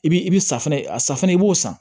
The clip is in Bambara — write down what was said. I bi i bi safunɛ a safunɛ i b'o san